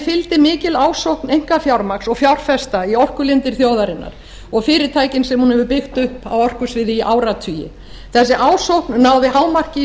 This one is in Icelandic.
fylgdi mikil ásókn einkafjármagns og fjárfesta í orkulindir þjóðarinnar og fyrirtækin sem hún hefur byggt upp á orkusviði í áratugi þessi ásókn náði hámarki í